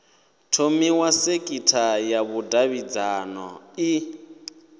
thomiwa sekitha ya vhudavhidzano i